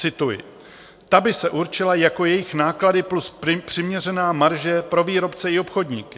Cituji: Ta by se určila jako jejich náklady plus přiměřená marže pro výrobce i obchodníky.